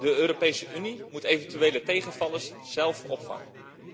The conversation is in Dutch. De Europese Unie moet eventuele tegenvallers zelf opvangen.